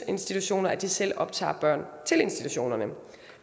institutioner at de selv optager børn til institutionerne